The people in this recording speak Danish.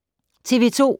TV 2